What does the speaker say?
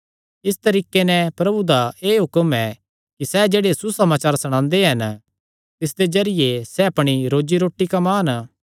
इस तरीके नैं प्रभु दा एह़ हुक्म ऐ कि सैह़ जेह्ड़े सुसमाचार सणांदे हन तिसदे जरिये सैह़ अपणी रोजी रोटी कम्मान